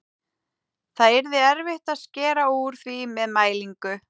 Það yrði erfitt að skera úr því með mælingu.